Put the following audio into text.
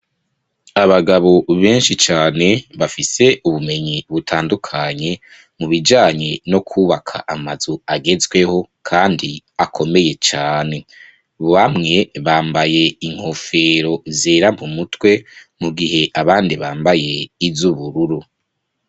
Abagabo benshi cane, bafise ubumenyi butandukanye, mu bijanye no kwubaka amazu agezweho, kandi akomeye cane; bamwe, bambaye inkofero zera mu mutwe, mu gihe abandi bambaye iz'ubururu.